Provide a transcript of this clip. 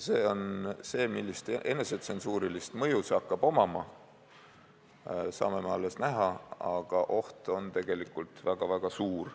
See, millist enesetsensuurilist mõju see hakkab omama, saame alles näha, aga oht on tegelikult väga-väga suur.